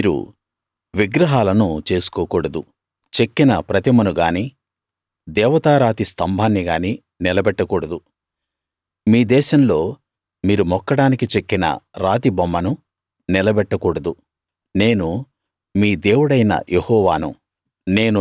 మీరు విగ్రహాలను చేసుకోకూడదు చెక్కిన ప్రతిమను గానీ దేవతా రాతి స్తంభాన్ని గానీ నిలబెట్టకూడదు మీ దేశంలో మీరు మొక్కడానికి చెక్కిన రాతి బొమ్మను నిలబెట్టకూడదు నేను మీ దేవుడైన యెహోవాను